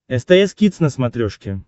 стс кидс на смотрешке